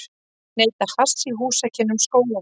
Neyta hass í húsakynnum skólans.